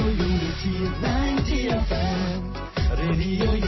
radio ಯುನಿಟಿನೈಂಟಿಎಫ್